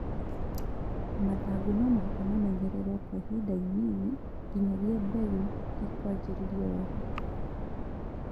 Mathangũ nomũhaka mamenyererwo Kwa ihinda inini nginyagia mbegũ ĩkwanjĩrĩrio wega